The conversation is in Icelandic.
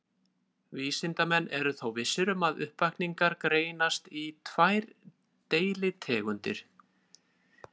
Vísindamenn eru þó vissir um að uppvakningar greinast í tvær deilitegundir.